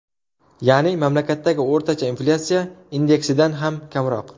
Ya’ni, mamlakatdagi o‘rtacha inflyatsiya indeksidan ham kamroq.